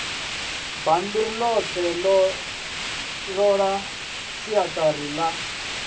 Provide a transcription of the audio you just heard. bammbiri ḽoṱhe ṱolani siaṱari ḽa